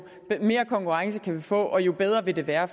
mere konkurrence kan vi få og jo bedre vil det være